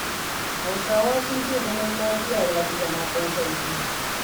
Hausawa sun ce zama lafiya ya fi zama ɗan sarki.